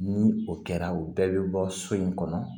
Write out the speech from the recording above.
Ni o kɛra o bɛɛ bɛ bɔ so in kɔnɔ